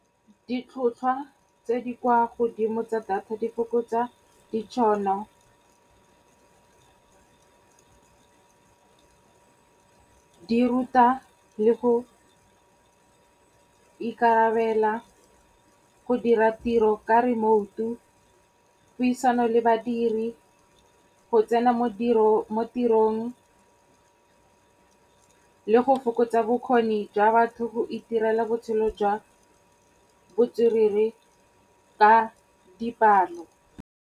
Ditlhotlhwa tse di kwa godimo tsa data di fokotsa ditšhono , di ruta le go ikarabela, go dira tiro ka remote-u, puisano le badiri, go tsena mo tirong le go fokotsa bokgoni jwa batho go itirela botshelo jwa botswerere ka dipalo.